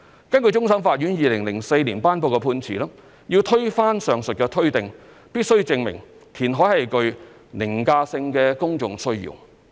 根據終審法院2004年頒布的判詞，要推翻上述推定，必須證明填海是具"凌駕性的公眾需要"。